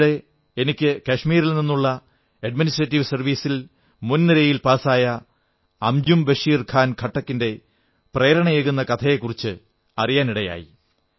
അടുത്തയിടെ എനിക്ക് കാശ്മീരിൽ നിന്നുള്ള അഡ്മിനിസ്ട്രേറ്റീവ് സർവ്വീസിൽ മുൻനിരയിൽ പാസായ അംജും ബഷീർ ഖാൻ ഖട്ടക് ന്റെ പ്രേരണയേകുന്ന കഥയെക്കുറിച്ച് അറിയാനിടയായി